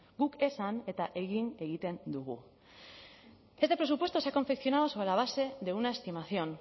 guk esan eta egin egiten dugu este presupuesto se ha confeccionado sobre la base de una estimación